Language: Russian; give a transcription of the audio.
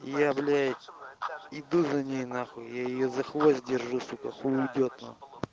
является иду за ней нахуй я её за хвост держу сука хуй уйдёт на